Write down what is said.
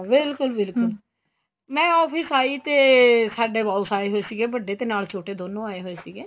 ਬਿਲਕੁਲ ਬਿਲਕੁਲ ਮੈਂ office ਆਈ ਤੇ ਸਾਡੇ boss ਆਏ ਹੋਏ ਸੀਗੇ ਵੱਡੇ ਤੇ ਨਾਲ ਛੋਟੇ ਦੋਨੋ ਆਏ ਹੋਏ ਸੀਗੇ